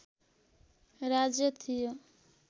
राज्य थियो